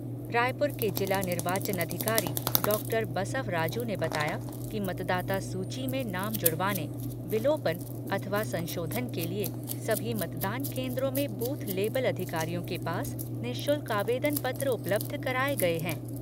रायपुर के जिला निर्वाचन अधिकारी डॉक्टर बसव राजू ने बताया कि मतदाता सूची में नाम जुड़वाने, विलोपन अथवा संशोधन के लिए सभी मतदान केन्द्रों में बूथ लेवल अधिकारियों के पास निःशुल्क आवेदन पत्र उपलब्ध कराए गए हैं।